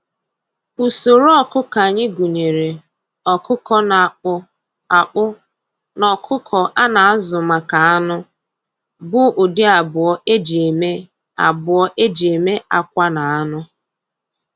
Usoro ọkụkọ anyị gụnyere ọkụkọ na-akpụ akpụ na ọkụkọ a na-azụ maka anụ, bụ ụdị abụọ eji eme abụọ eji eme akwa na anụ.